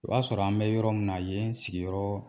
O b'a sɔrɔ an bɛ yɔrɔ min na yen sigiyɔrɔ